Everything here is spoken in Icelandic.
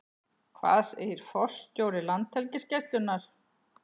Hvað segir forstjóri Landhelgisgæslunnar?